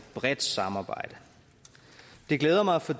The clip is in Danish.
bredt samarbejde det glæder mig for